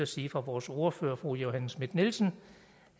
sige fra vores ordfører fru johanne schmidt nielsen